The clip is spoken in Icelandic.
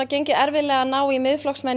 gengið erfiðlega að ná Miðflokksmenn